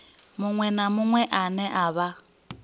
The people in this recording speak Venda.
na muṅwe ane a vha